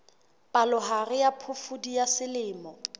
palohare ya phofudi ya selemo